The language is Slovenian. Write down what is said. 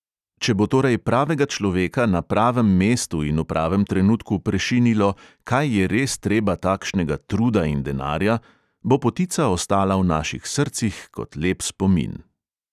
Če bo torej pravega človeka na pravem mestu in v pravem trenutku prešinilo "kaj je res treba takšnega truda in denarja", bo potica ostala v naših srcih kot lep spomin.